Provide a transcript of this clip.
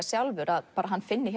sjálfur að hann finni